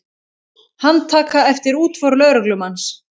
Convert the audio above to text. Handtaka eftir útför lögreglumanns